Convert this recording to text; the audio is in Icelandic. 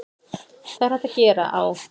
Það er hægt að gera á